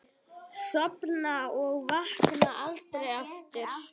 Sofna og vakna aldrei aftur.